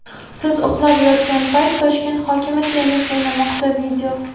"Siz uxlab yotgan payt Toshkent hokimi tennis o‘ynamoqda".